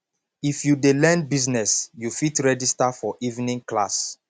if you dey learn business you fit register for evening class